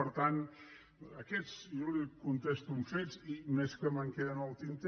per tant jo li contesto amb fets i més que me’n queden al tinter